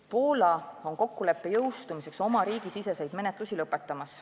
Poola on kokkuleppe jõustumiseks oma riigisiseseid menetlusi lõpetamas.